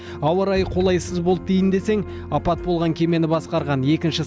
ауа райы қолайсыз болды дейін десең апат болған кемені басқарған екінші